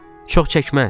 Çox çəkməz.